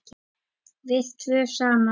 Við tvö saman.